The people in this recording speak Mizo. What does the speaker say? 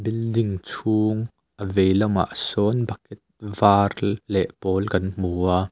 building chhung a vei lamah sawn bucket var leh pawl kan hmu a.